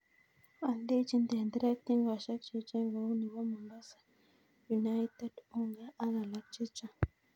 Oldechin tenderek tingosiek cheechen kou nebo Mombasa, United, Unga ak alak cheng'.